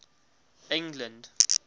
england